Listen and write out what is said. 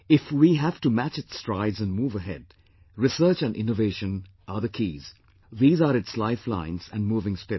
If we have to match its strides and move ahead, research and innovation are the keys, these are its lifelines and moving spirit